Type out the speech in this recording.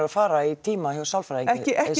fara í tíma hjá sálfræðingi ekki ekki